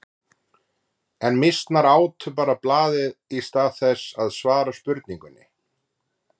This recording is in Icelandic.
En mýsnar átu bara blaðið í stað þess að svara spurningunni.